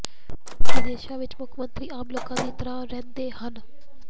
ਵਿਦੇਸ਼ਾਂ ਵਿੱਚ ਮੁੱਖ ਮੰਤਰੀ ਆਮ ਲੋਕਾਂ ਦੀ ਤਰ੍ਹਾਂ ਰਹਿੰਦੇ ਹਨ